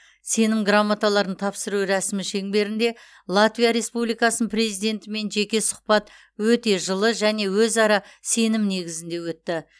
сенім грамоталарын тапсыру рәсімі шеңберінде латвия республикасының президентімен жеке сұхбат өте жылы және өзара сенім негізінде өтті